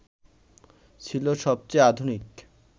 ছিল সবচেয়ে আধুনিক